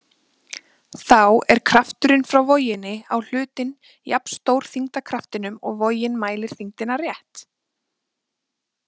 Þá er krafturinn frá voginni á hlutinn jafnstór þyngdarkraftinum og vogin mælir þyngdina rétt.